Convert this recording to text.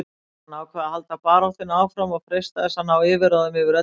Hann ákvað að halda baráttunni áfram og freista þess að ná yfirráðum yfir öllu Kína.